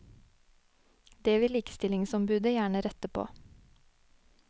Det vil likestillingsombudet gjerne rette på.